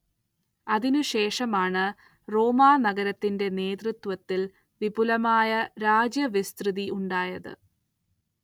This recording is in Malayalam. അതിനുശേഷമാണ് റോമാനഗരത്തിന്റെ നേതൃത്വത്തിൽ വിപുലമായ രാജ്യവിസ്തൃതി ഉണ്ടായത്.